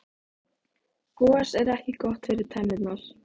gos er ekki gott fyrir tennurnar